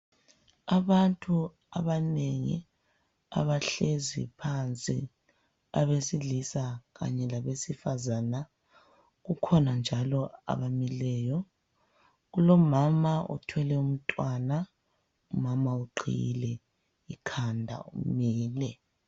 Abantu abanengi abahlezi phansi abesilisa Kanye labesifazana kukhona njalo abamileyo kulomama othwele umntwana umama uqhiyile ekhanda umile